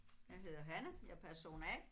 Jeg hedder Hanne. Jeg er person A